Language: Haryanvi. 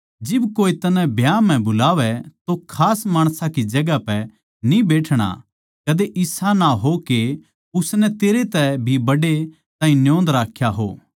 जिब कोये तन्नै ब्याह म्ह बुलावै तो खास माणसां की जगहां पै न्ही बैठणा कदे इसा ना हो के उसनै तेरै तै भी बड्डे ताहीं न्योंद राख्या हो